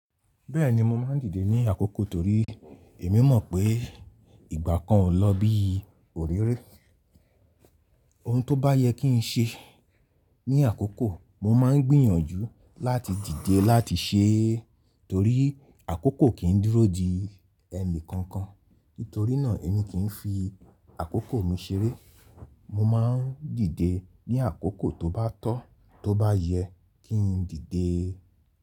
Bẹ́ẹ̀ni mo máa ń dìde ní àkókò torí èmi mọ̀ pé ìgbà kan ò lọ bí òréré. Ohun tó bá yẹ kí n ṣe ní àkókò mo máa ń gbìyànjú láti dìde láti ṣe é torí àkókò kì í dúró di ẹni kankan. Nítorínà èmi kì í fi àkókò mi ṣeré. Mo máa ń dìde ní àkókò tó bá tọ́, tó bá yẹ kí n dìde.